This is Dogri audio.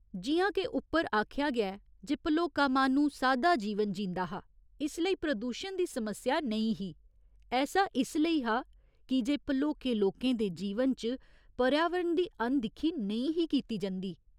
जि'यां के उप्पर आखेआ गेआ ऐ जे भलोका माह्‌नू सादा जीवन जींदा हा इसलेई प्रदूशन दी समस्या नेईं ही, ऐसा इसलेई हा की जे भलोके लोकें दे जीवन च पर्यावरण दी अनदिक्खी नेईं ही कीती जंदी।